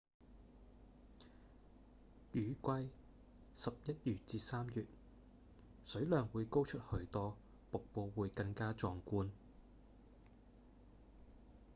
雨季十一月至三月水量會高出許多瀑布會更加壯觀